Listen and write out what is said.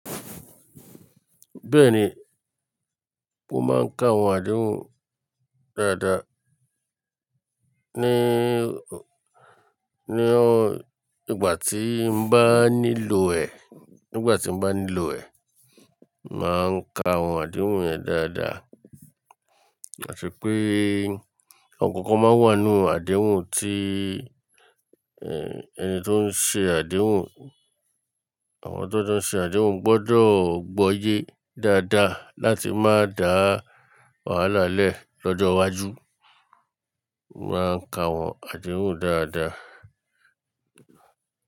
Bẹ́ẹ̀ni, mo máa ń ka àwọn àdéhùn dáadáa. Ni, ni ọ, ìgbà tí mo bá nílò rẹ̀, nígbà tí mo bá nílò rẹ̀, màá ń ka àwọn àdéhùn rẹ̀ dáadáa. Ati pé ọ̀kọ̀ọ̀kan máa wà nínú àdéhùn tí, ẹ́, ẹni tó ń ṣe àdéhùn, àwọn tó jọ ń ṣe àdéhùn gbọ́dọ̀ gbọ́yè dáadáa láti má dàá wàhálà lẹ́ ẹ̀ lọ́jọ́ iwájú. Mo máa ń ka àwọn àdéhùn dáadáa.